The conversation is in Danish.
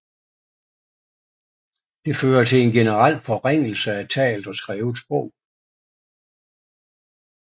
Det fører til en generel forringelse af talt og skrevet sprog